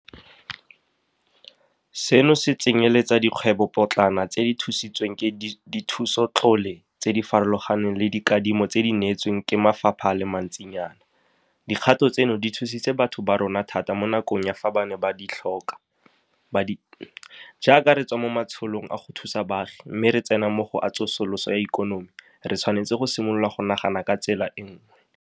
Seno se tsenyeletsa le dikgwebopotlana tse di thusitsweng ke dithusotlole tse di farologaneng le dikadimo tse di neetsweng ke mafapha a le mantsinyana. Dikgato tseno di thusitse batho ba rona thata mo nakong ya fa ba ne ba di tlhokwa. Jaaka re tswa mo matsholong a go thusa baagi mme re tsena mo go a tsosoloso ya ikonomi, re tshwanetse go simolola go nagana ka tsela e nngwe.